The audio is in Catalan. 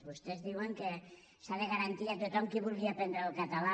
vostès diuen que s’ha de garantir a tothom qui vulgui aprendre el català